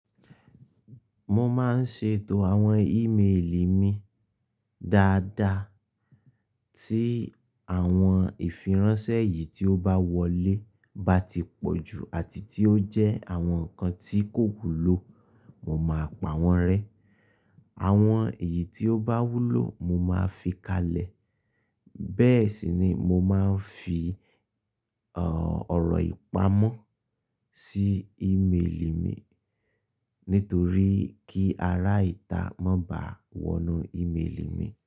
Mo máa ń ṣètò àwọn email mi dáadáa, tí àwọn ìfiránsẹ́ yìí tí ó bá wọlé bá ti pọ̀ jù àti tí ó jẹ́ àwọn nǹkan tí kò wúlò, mo máa pa wọ́n rẹ́. Àwọn èyí tí ó bá wúlò, mo máa fi kalẹ̀. Bẹ́ẹ̀ sì ni mo máa ń fi ọ̀rọ̀ ìpamọ́ sí ìméèlì mi, nítorí kí ara ìta mọ́ bá wọnú ìméèlì mi.